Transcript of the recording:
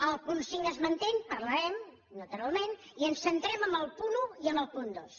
el punt cinc es manté en parlarem naturalment i ens centrem en el punt un i en el punt dos